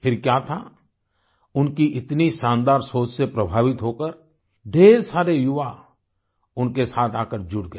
फिर क्या था उनकी इतनी शानदार सोच से प्रभावित होकर ढ़ेर सारे युवा उनके साथ आकर जुड़ गए